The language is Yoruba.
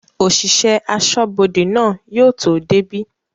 òsìsẹ̀ asọ́bodè náà yóò tó débí.